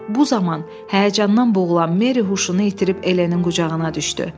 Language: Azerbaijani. Bu zaman həyəcandan boğulan Meri huşunu itirib Elenin qucağına düşdü.